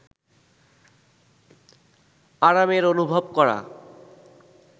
আরামের অনুভব করা